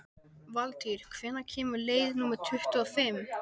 Valtýr, hvenær kemur leið númer tuttugu og fimm?